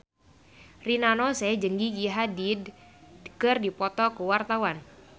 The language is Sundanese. Rina Nose jeung Gigi Hadid keur dipoto ku wartawan